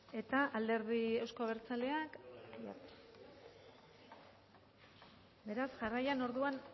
eta alderdi euzko abertzaleak aiartza beraz jarraian orduan